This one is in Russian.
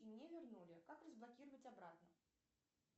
и мне вернули как разблокировать обратно